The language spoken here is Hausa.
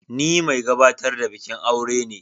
Ni mai gabatar da bikin aure ne.